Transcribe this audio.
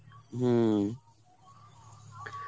হম.